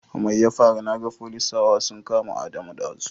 Mai ya faru naga folisawa sun kama Adamu ɗazu?